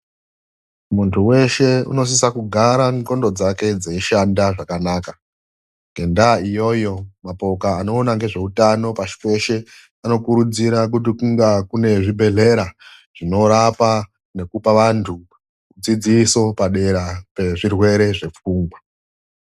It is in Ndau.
Munthu weshe unosise kugara ndxondo dzake dzinoshe zvakanaka. Ngendaa iyoyo mapoka anoona ngezveutano pashi peshe anokurudzire kuti kunge kune zvibhedhlera zvinorape nekupe vanthu dzidziso padera pezvirwere zvepfungwa.